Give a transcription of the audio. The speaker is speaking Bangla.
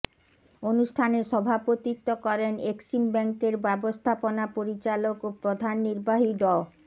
অনুষ্ঠানে সভাপতিত্ব করেন এক্সিম ব্যাংকের ব্যবস্থাপনা পরিচালক ও প্রধান নির্বাহী ড